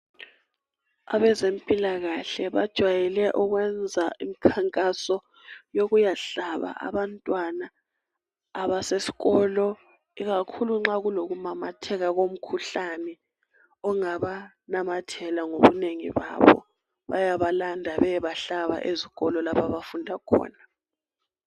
Abezempilakahle bajwayele ukwenza imkhankaso yokuyahlaba abantwana abasesikolo ikakhulu nxa lokumamatheka komkhuhlane ongabanamathela ngobunengi babo bayabalanda beyebahlaba ezikolo lapha abafunda khona.